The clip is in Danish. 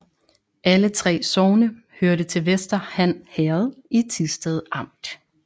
Alle 3 sogne hørte til Vester Han Herred i Thisted Amt